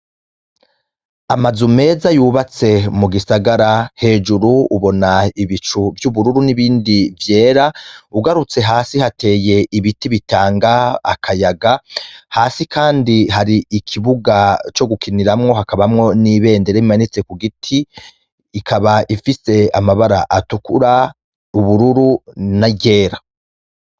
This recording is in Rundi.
Amazu meza yubatse mu gisagara hejuru ubona ibicu vy'ubururu n'ibindi vyera ugarutse hasi hateye ibiti bitanga akayaga hasi, kandi hari ikibuga co gukiniramwo hakabamwo n'ibendere imanitse ku giti ikaba ifise amaba bara atukura ubururu na ryera.